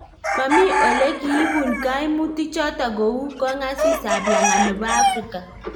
Maami ole kiipun gaimutik chotok kou Kongaasis ab langat nebo Africa